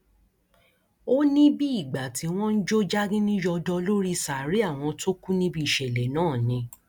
ó ní bíi ìgbà tí wọn ń jó jágínní yọdọ lórí sàárè àwọn tó kù níbi ìṣẹlẹ náà ni